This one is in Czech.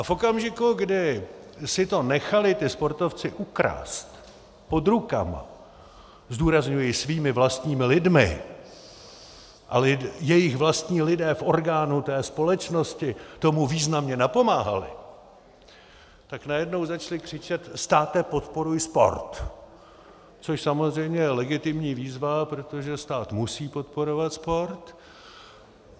A v okamžiku, kdy si to nechali ti sportovci ukrást pod rukama - zdůrazňuji svými vlastními lidmi a jejich vlastní lidé v orgánu té společnosti tomu významně napomáhali - tak najednou začali křičet "státe, podporuj sport!", což samozřejmě je legitimní výzva, protože stát musí podporovat sport.